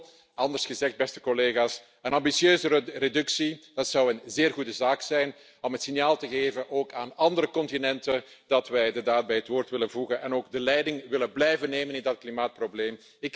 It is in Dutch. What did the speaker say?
Kortom, anders gezegd, beste collega's, een ambitieuzere reductie zou een zeer goede zaak zijn om het signaal te geven, ook aan andere continenten, dat wij de daad bij het woord willen voegen en ook de leiding willen blijven nemen in dat klimaatprobleem.